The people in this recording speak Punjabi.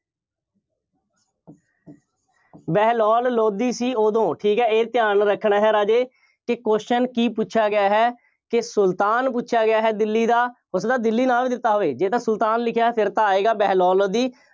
ਬਹਿਲੋਲ ਲੋਧੀ ਸੀ ਉਦੋਂ। ਠੀਕ ਹੈ, ਇਹ ਧਿਆਨ ਰੱਖਣਾ ਹੈ, ਰਾਜੇ। ਕਿ question ਕੀ ਪੁੱਛਿਆ ਗਿਆ ਹੈ। ਕਿ ਸੁਲਤਾਨ ਪੁੱਛਿਆ ਗਿਆ ਹੈ ਦਿੱਲੀ ਦਾ, ਹੋ ਸਕਦਾ ਦਿੱਲੀ ਨਾਂ ਵੀ ਦਿੱਤਾ ਹੋਵੇ। ਜੇਕਰ ਸੁਲਤਾਨ ਲਿਖਿਆ ਫੇਰ ਤਾਂ ਆਏਗਾ, ਬਹਿਲੋਲ ਲੋਧੀ।